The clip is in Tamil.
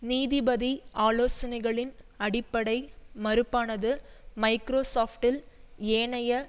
நீதிபதி ஆலோசனைகளின் அடிப்படை மறுப்பானது மைக்ரோசொப்ட்டில் ஏனைய